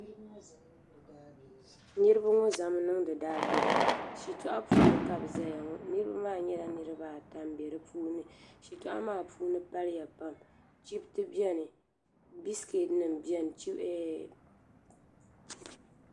Niriba ŋɔ zami niŋdi daa bilim shitɔɣu puuni ka bɛ ʒiya niriba maa nyɛla niriba ata m be dipuuni shitɔɣu maa puuni paliya pam chipti biɛni bisiketi nima biɛni.